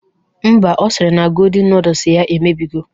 Mba, ọ sịrị na godin nudus ya emebigo